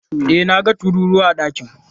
E, na ga tururuwa a ɗakin.